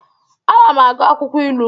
Ana m agụ akwụkwọ ilu.